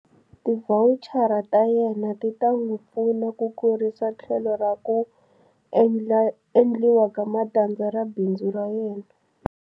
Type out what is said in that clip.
Tivhawuchara ta yena ti ta n'wi pfuna ku kurisa tlhelo ra ku endliwa ka matandza ra bindzu ra yena.